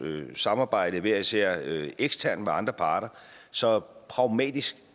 samarbejde hver især eksternt med andre parter så pragmatisk